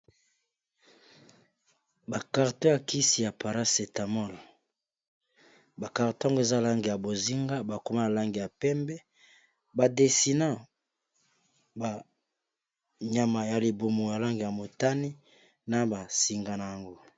ba karton ya kisi ya parae etamol bakarton yango eza nalange ya bozinga bakoma nalange ya pembe badesina banyama ya libumo ya lange ya motani na basinga na yango